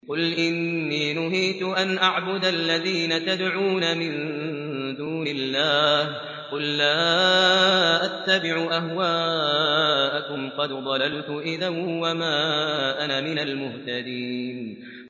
قُلْ إِنِّي نُهِيتُ أَنْ أَعْبُدَ الَّذِينَ تَدْعُونَ مِن دُونِ اللَّهِ ۚ قُل لَّا أَتَّبِعُ أَهْوَاءَكُمْ ۙ قَدْ ضَلَلْتُ إِذًا وَمَا أَنَا مِنَ الْمُهْتَدِينَ